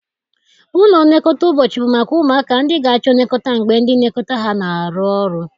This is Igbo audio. Ụlọ nlekọta ụbọchị bụ maka ụmụaka ndị ga-achọ nlekọta mgbe ndị nlekọta ha na-arụ ọrụ